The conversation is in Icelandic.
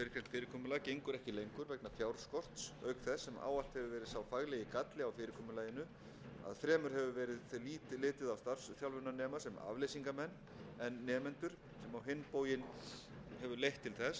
fyrirkomulag gengur ekki lengur vegna fjárskorts auk þess sem ávallt hefur verið sá faglegi galli á fyrirkomulaginu að fremur hefur verið litið á starfsþjálfunarnema sem afleysingamenn en nemendur sem á hinn bóginn hefur leitt til þess að